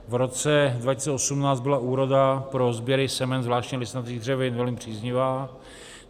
V roce 2018 byla úroda pro sběry semen, zvláště listnatých dřevin, velmi příznivá.